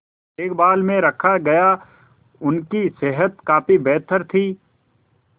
देखभाल में रखा गया उनकी सेहत काफी बेहतर थी